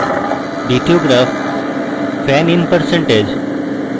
দ্বিতীয় graph fan in percentage এবং